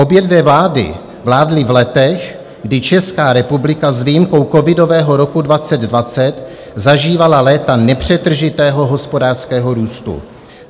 Obě dvě vlády vládly v letech, kdy Česká republika s výjimkou covidového roku 2020 zažívala léta nepřetržitého hospodářského růstu.